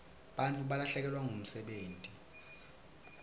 bantfu balahlekelwa ngumsebenti